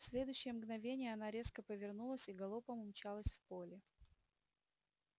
в следующее мгновенье она резко повернулась и галопом умчалась в поле